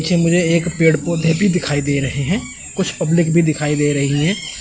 इसे मुझे एक पेड़ पौधे भी दिखाई दे रहे हैं कुछ पब्लिक भी दिखाई दे रही है।